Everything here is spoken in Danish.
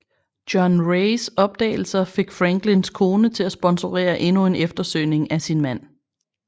John Raes opdagelser fik Franklins kone til at sponsorere endnu en eftersøgning af sin mand